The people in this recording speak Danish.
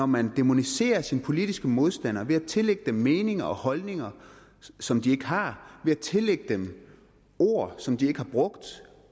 man dæmoniserer sine politiske modstandere ved at tillægge dem meninger og holdninger som de ikke har ved at tillægge dem ord som de ikke har brugt